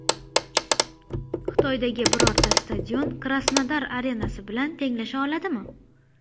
Xitoydagi birorta stadion Krasnodar arenasi bilan tenglasha oladimi?